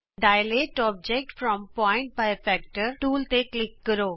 dilate object from point by factor tool ਤੇ click ਕਰੋ